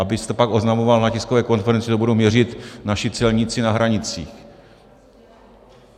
- Abyste pak oznamoval na tiskové konferenci, že ji budou měřit naši celníci na hranicích.